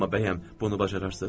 Amma bəyəm, bunu bacararsız?